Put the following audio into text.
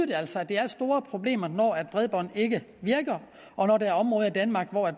det altså giver store problemer når bredbåndet ikke virker og når der er områder i danmark hvor